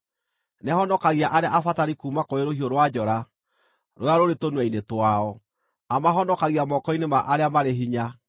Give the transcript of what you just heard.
Nĩahonokagia arĩa abatari kuuma kũrĩ rũhiũ rwa njora rũrĩa rũrĩ tũnua-inĩ twao; amahonokagia moko-inĩ ma arĩa marĩ hinya.